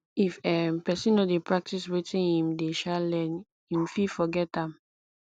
if um persin no de practice wetin im de um learn im fit forget am